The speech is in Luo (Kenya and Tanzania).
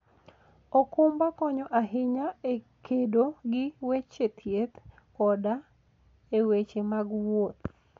okumba konyo ahinya e kedo gi weche thieth koda e weche mag wuoth.